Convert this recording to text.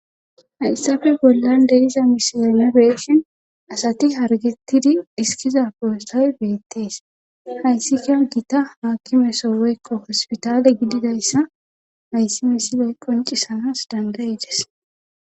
Hayssafe bollan deriza misiyonibeeshen asati hargettidi dhiskiza poostay beettees hayssika gita haakimeso weykko hospitale gididayssa hayssi misiley qoncisanas dangayides.